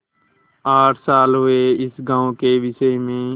आठ साल हुए इस गॉँव के विषय में